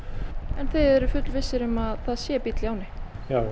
en þið fullvissir um að það sé bíll í ánni já